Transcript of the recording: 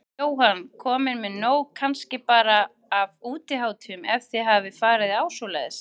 Jóhann: Komin með nóg kannski bara af útihátíðum, ef þið hafið farið á svoleiðis?